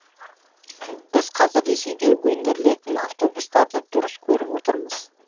біз қазір ресейде өндірілетін автобустарды дұрыс көріп отырмыз